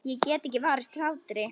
Ég get ekki varist hlátri.